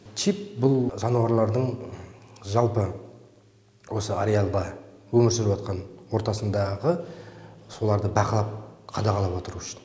чип бұл жануарлардың жалпы осы ариалда өмір сүріватқан ортасындағы соларды бақылап қадағалап отыру үшін